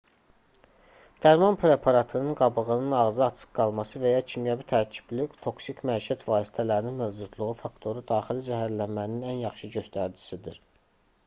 dərman preparatının qabının ağzı açıq qalması və ya kimyəvi tərkibli toksik məişət vasitələrinin mövcudluğu faktoru daxili zəhərlənmənin ən yaxşı göstəricisidir